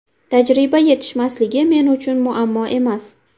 Tajriba yetishmasligi men uchun muammo emas.